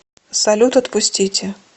салют отпустите